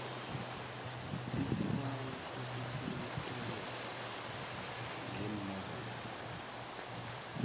isibawo sokusekelwa ngeemali